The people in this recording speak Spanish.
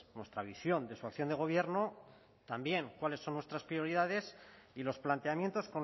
nuestra visión de su acción de gobierno también cuáles son nuestras prioridades y los planteamientos